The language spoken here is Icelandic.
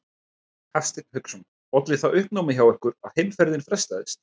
Hafsteinn Hauksson: Olli það uppnámi hjá ykkur að heimferðin frestaðist?